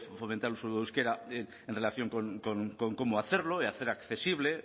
fomentar un uso del euskera en relación con cómo hacerlo y hacer accesible